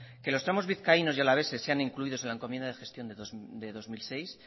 que los tramos vizcaínos y alaveses sean incluidos en la encomienda de gestión de dos mil seis